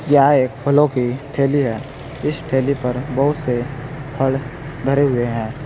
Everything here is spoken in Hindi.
यहां एक फलों की ठेली है इस ठेली पर बहुत से फल भरे हुए हैं।